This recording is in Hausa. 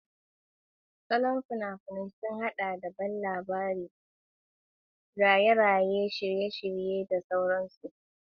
Salon fina-finai sun haɗa da ban dariya, bala'i, raye-raye, shirye-shirye, da sauran su.